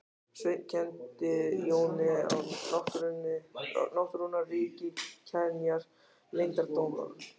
Sveinn kenndi Jóni á náttúrunnar ríki, kenjar og leyndardóma.